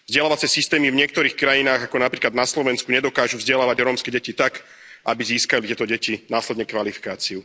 Vzdelávacie systémy v niektorých krajinách, ako napríklad na Slovensku, nedokážu vzdelávať rómske deti tak, aby získali tieto deti následne kvalifikáciu.